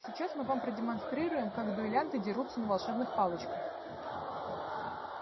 сейчас мы вам продемонстрируем как дуэлянты дерутся на волшебных палочках